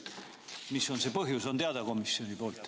Mis on see põhjus, kas on teada?